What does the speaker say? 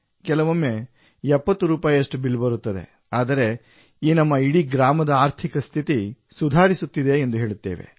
ಕೆಲವೊಮ್ಮೆ 70 ರೂಪಾಯಿಯಷ್ಟು ಬಿಲ್ ಬರುತ್ತದೆ ಆದರೆ ಈ ನಮ್ಮ ಇಡೀ ಗ್ರಾಮದ ಆರ್ಥಿಕ ಸ್ಥಿತಿ ಸುಧಾರಿಸುತ್ತಿದೆ ಎಂದು ಹೇಳುತ್ತೇವೆ